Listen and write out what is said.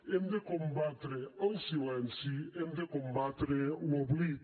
hem de combatre el silenci hem de combatre l’oblit